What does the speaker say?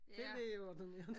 Det lægeordineret